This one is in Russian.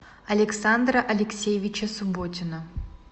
александра алексеевича субботина